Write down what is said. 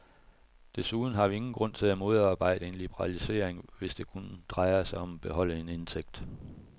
Desuden har vi ingen grund til at modarbejde en liberalisering, hvis det kun drejer sig om at beholde en indtægt.